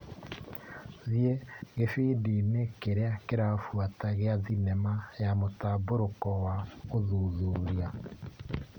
Thiĩ gĩbindi-inĩ kĩrĩa kĩrabuata gĩa thinema ya mũtambũrũko wa ũthuthuria.